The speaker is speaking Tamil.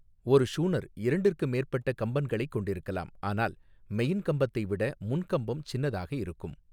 ஒரு ஷூனர் இரண்டிற்கு மேற்பட்ட கம்பன்களைக் கொண்டிருக்கலாம் ஆனால் மெயின்கம்பத்தை விட முன்கம்பம் சின்னதாக இருக்கும்.